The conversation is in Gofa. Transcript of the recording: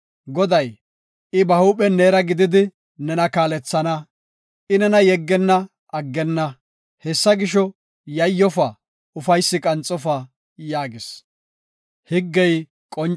Goday, I ba huuphen neera gididi nena kaalethana. I nena yeggenna; aggenna. Hessa gisho, yayyofa; ufaysi qanxofa” yaagis.